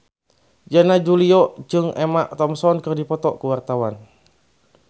Yana Julio jeung Emma Thompson keur dipoto ku wartawan